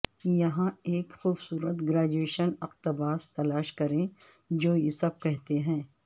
یہاں ایک خوبصورت گریجویشن اقتباس تلاش کریں جو یہ سب کہتے ہیں